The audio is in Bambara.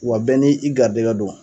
Wa bɛɛ ni i garijɛgɛ don